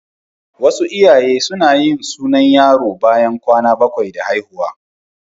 Wasu iyaye suna yin sunan yaro bayan kwana bakwai da haihuwa.